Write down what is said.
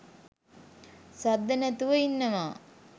සද්ද නැතිව ඉන්නවා.